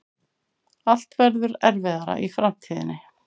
Allt verður erfiðara í framtíðinni.